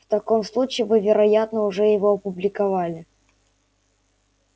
в таком случае вы вероятно уже его опубликовали